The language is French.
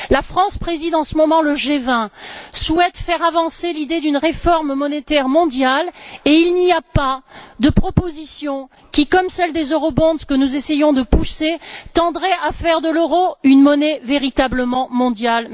La France préside en ce moment le G20, souhaite faire avancer l'idée d'une réforme monétaire mondiale et il n'y a pas de proposition qui, comme celle des eurobonds que nous essayons de pousser, tendrait à faire de l'euro une monnaie véritablement mondiale.